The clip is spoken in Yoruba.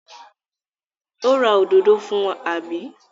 Ó ra òdòdó fún, àbí?